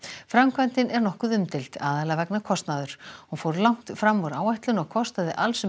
framkvæmdin er nokkuð umdeild aðallega vegna kostnaðar hún fór langt fram úr áætlun og kostaði alls um